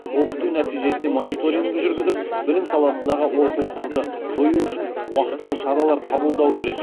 оқыту нәтижесіне мониторинг жүргізіп білім саласындағы олқылықтарды жою үшін уақтылы шаралар қабылдау керек